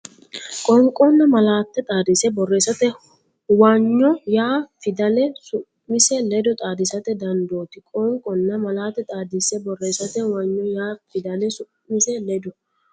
Qoonqonna malaate xaadise borreessate huwanyo yaa fidale su mise ledo xaadisate dandooti Qoonqonna malaate xaadise borreessate huwanyo yaa fidale su mise ledo.